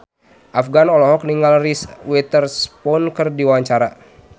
Afgan olohok ningali Reese Witherspoon keur diwawancara